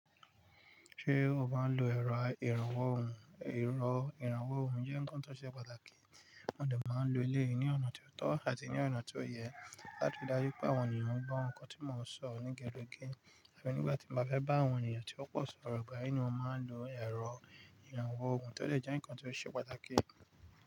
Ṣé o máa ń lo ẹ̀rọ ìrànwọ́ òhùn? Ẹ̀rọ ìrànwọ́ òhùn jẹ́ ǹnkan tó ṣe pàtàkì, mo dẹ̀ máa ń lo eléyìí ní ọ̀nà tió tọ́ àti ní ọ̀nà tó yẹ láti rí dájú pé àwọn ènìyàn ń gbọ́ ǹkan tí mo ń sọ ní kelekele àfi nígbà tí mbá fẹ́ bá àwọn ènìyàn tí ó pọ̀ sọ̀rọ̀ ìgbà yì ni mo máa ń lo ẹ̀rọ ìrànwọ́ òhùn tó dẹ̀ jẹ́ nǹkan tió ṣe pàtàkì.